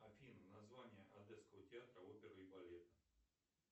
афина название одесского театра оперы и балета